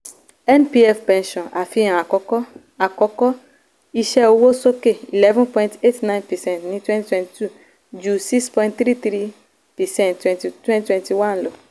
npf pensions àfihàn àkọ́kọ́: àkọ́kọ́: iṣẹ́ owó sókè 11.89 percent ní 2022 ju 6.33 percent 2021 lọ.